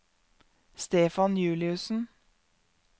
Stefan Juliussen